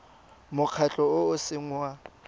mokgatlho o o seng wa